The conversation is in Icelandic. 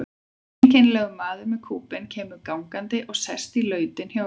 Einkennilegur maður með kúbein kemur gangandi og sest í lautina hjá Ölmu.